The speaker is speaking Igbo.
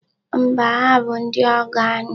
Mba, ha bụ ndị ọgọ anyị.